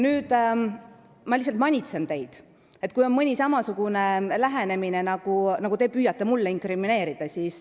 Nüüd ma lihtsalt manitsen teid, sest te püüate siin mulle inkrimineerida teatud lähenemist.